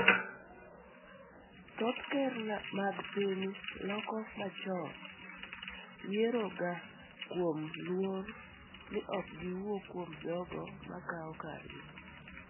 Thoth Ker nag piny Loka machon yieroga kuom luor ni ok giwuo kuom jogo makawo kargi.